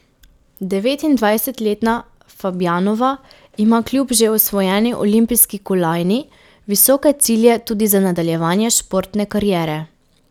Devetindvajsetletna Fabjanova ima kljub že osvojeni olimpijski kolajni visoke cilje tudi za nadaljevanje športne kariere.